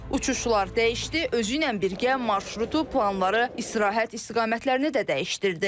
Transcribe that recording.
Uçuşlar dəyişdi, özü ilə birgə marşrutu, planları, istirahət istiqamətlərini də dəyişdirdi.